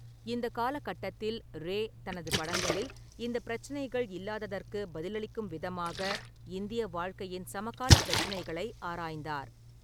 இந்த காலகட்டத்தில் ரே தனது படங்களில் இந்த பிரச்சினைகள் இல்லாததற்கு பதிலளிக்கும் விதமாக இந்திய வாழ்க்கையின் சமகாலப் பிரச்சினைகளை ஆராய்ந்தார்.